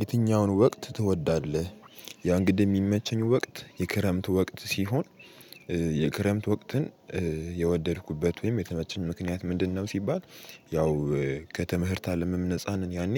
የትኛውን ወቅት ትወዳለህ? ያ እንግዲህ የሚመቸኝ ወቅት የክረምት ወቅት ሲሆን። የክረምት ወቅትን የወደድኩበት ወይም የተመቸኝ ምክንያት ምንድነው? ሲባል ያው ከትምህርት አለምም ነፃ ነን። ያኔ